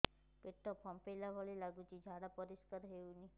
ପେଟ ଫମ୍ପେଇଲା ଭଳି ଲାଗୁଛି ଝାଡା ପରିସ୍କାର ହେଉନି